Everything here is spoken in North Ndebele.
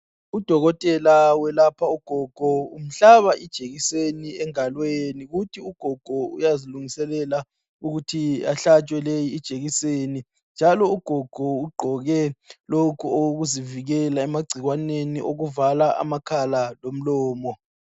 Udokotela welapha ugogo, uhlaba ijekiseni engalweni. Uthi ugogo uyazi lungiselela ukuthi ahlatshe ijekiseni leyi. Njalo ugogo ugqoke lokhu okokuzivikela amagcikwaneni okuvala amakhala lomlomo.